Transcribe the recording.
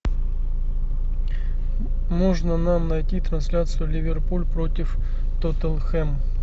можно нам найти трансляцию ливерпуль против тоттенхэм